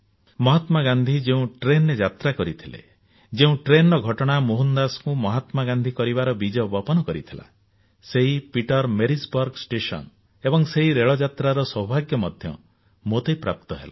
ମହାତ୍ମା ଗାନ୍ଧୀ ଯେଉଁ ରେଳରେ ଯାତ୍ରା କରିଥିଲେ ଯେଉଁ ରେଳର ଘଟଣା ମୋହନ ଦାସଙ୍କୁ ମହାତ୍ମା ଗାନ୍ଧୀ କରିବାର ବୀଜବିପନ କରିଥିଲା ସେହି ପିଟରମାରିଜବର୍ଗ ଷ୍ଟେସନ ଏବଂ ସେହି ରେଳ ଯାତ୍ରାର ସୌଭାଗ୍ୟ ମଧ୍ୟ ମୋତେ ପ୍ରାପ୍ତ ହେଲା